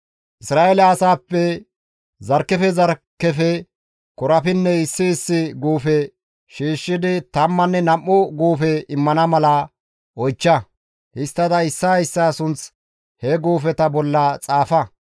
«Isra7eele asaappe zarkkefe zarkkefe korapinney issi issi guufe shiishshidi tammanne nam7u guufe immana mala oychcha; histtada issaa issaa sunth he guufeta bolla xaafa.